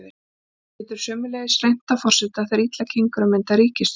Þá getur sömuleiðis reynt á forseta þegar þegar illa gengur að mynda ríkisstjórn.